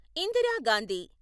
Indira Gandhi